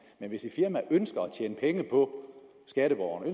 men hvis et firma ønsker at tjene penge på skatteborgerne